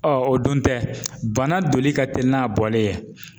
o dun tɛ bana doli ka teli n'a bɔli ye.